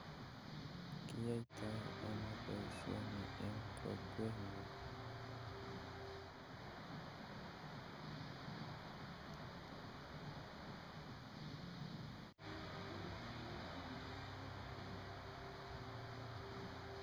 Kiyoito ono boishoni en kokwengung